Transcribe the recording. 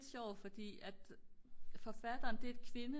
sjovt fordi at forfatteren det er et kvinde